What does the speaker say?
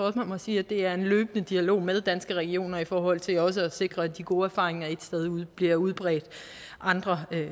at man må sige at det er en løbende dialog med danske regioner i forhold til også at sikre at de gode erfaringer et sted bliver udbredt andre